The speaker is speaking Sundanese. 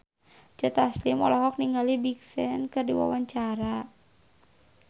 Joe Taslim olohok ningali Big Sean keur diwawancara